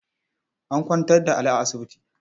An kwantar da Ali a asibiti.